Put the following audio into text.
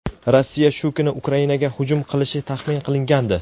Rossiya shu kuni Ukrainaga hujum qilishi taxmin qilingandi.